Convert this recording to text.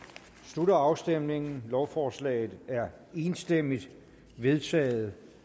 slutter afstemningen lovforslaget er enstemmigt vedtaget